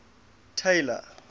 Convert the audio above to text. taylor